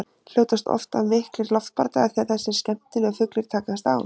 Hljótast oft af miklir loftbardagar þegar þessir skemmtilegu fuglar takast á.